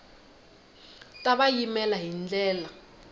ta va yimela hi ndlela